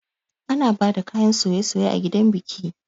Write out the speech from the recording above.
Ana bada kayan soye-soye a gidan biki